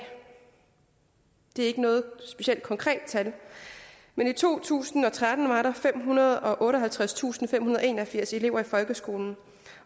det er ikke noget specielt konkret tal men i to tusind og tretten var der femhundrede og otteoghalvtredstusindfemhundrede og enogfirs elever i folkeskolen